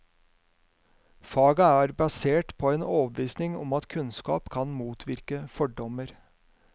Faget er basert på en overbevisning om at kunnskap kan motvirke fordommer.